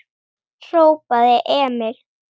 hrópaði Emil.